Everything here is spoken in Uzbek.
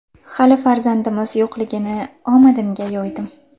Hali farzandimiz yo‘qligini omadimga yo‘ydim.